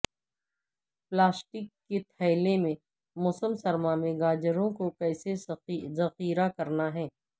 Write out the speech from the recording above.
plastic کے تھیلے میں موسم سرما میں گاجروں کو کیسے ذخیرہ کرنا ہے